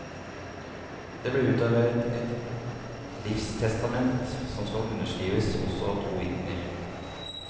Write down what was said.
Det ble utarbeidet et livstestament som skal underskrives også av to vitner.